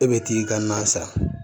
E bɛ t'i ka na san